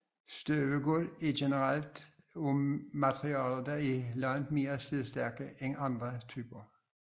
Støbegulve er generelt af materialer der er langt mere slidstærke end andre typer